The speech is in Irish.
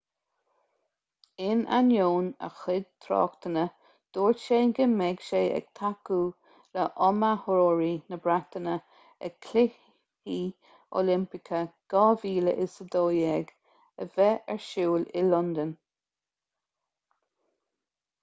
in ainneoin a chuid tráchtanna dúirt sé go mbeidh sé ag tacú le hiomaitheoirí na breataine ag cluichí oilimpeacha 2012 a bheidh ar siúl i londain